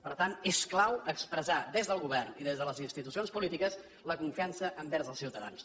per tant és clau expressar des del govern i des de les institucions polítiques la confiança envers els ciutadans